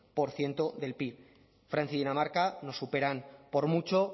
por ciento del pib francia y dinamarca nos superan por mucho